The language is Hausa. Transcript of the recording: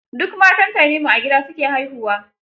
Duk matan Tanimu a gida su ke haihuwa.